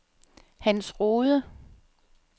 Hans Rohde